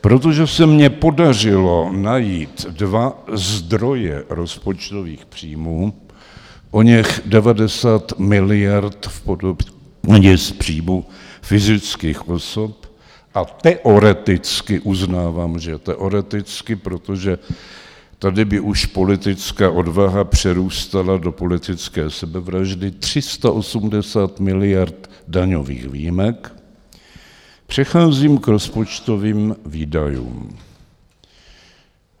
Protože se mně podařilo najít dva zdroje rozpočtových příjmů, oněch 90 miliard v podobě daně z příjmů fyzických osob, a teoreticky, uznávám, že teoreticky, protože tady by už politická odvaha přerůstala do politické sebevraždy, 380 miliard daňových výjimek, přecházím k rozpočtovým výdajům.